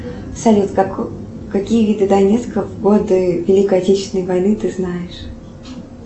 салют какие виды донецка в годы великой отечественной войны ты знаешь